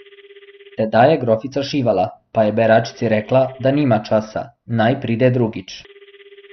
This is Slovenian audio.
Tedaj je grofica šivala, pa je beračici rekla, da nima časa, naj pride drugič.